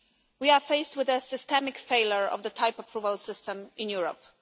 We are faced with a systemic failure of the type-approval system in Europe.